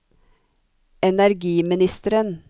energiministeren